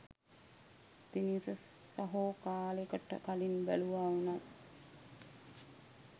දිනීෂ සහෝ කාලෙකට කලින් බැලුවා වුනත්